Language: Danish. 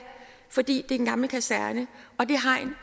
fordi det er en gammel kaserne og det hegn